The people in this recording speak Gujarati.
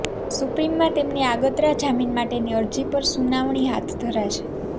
સુપ્રીમમાં તેમની આગાતરા જામીન માટેની અરજી પર સુનાવણી હાથ ધરાશે